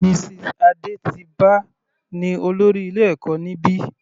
Mrs Adetiba ní olórí ilé ẹ̀kọ́ níbi.